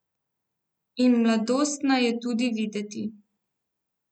In mladostna je tudi videti.